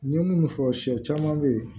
N ye munnu fɔ sɛ caman bɛ yen